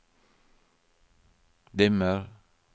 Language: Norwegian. dimmer